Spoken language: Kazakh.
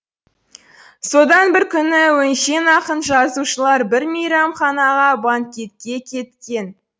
содан бір күні өңшең ақын жазушылар бір мейрамханаға банкетке кеткен